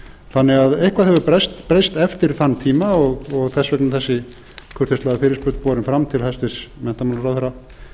þannig að eitthvað hefur breyst eftir þann tíma og þess vegna er þessi kurteislega fyrirspurn borin fram til hæstvirtrar menntmrn sem